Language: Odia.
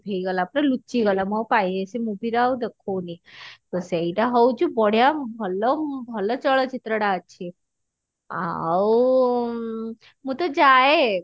ହେଇଗଲା ପୁରା ଲୁଚି ଗଲା ମୁଁ ଆଉ କାଇଁ ସେ movie ର ଆଉ ଦେଖଉନି ତ ସେଇଟା ହଉଛି ବଢିଆ ଭଲ ଭଲ ଚଳଚିତ୍ର ଟା ଅଛି ଆଉ ଉଁ ମୁଁ ତ ଯାଏ